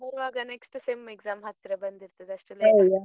ಬರುವಾಗ next SEM exam ಹತ್ರ ಬಂದಿರ್ತದೆ ಅಷ್ಟ್ .